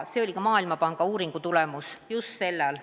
See oli ka Maailmapanga uuringu tulemus sel ajal.